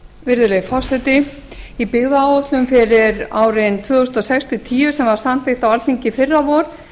virðulegi forseti í byggðaáætlun fyrir árin tvö þúsund og sex til tvö þúsund og níu sem samþykkt var á alþingi í fyrravor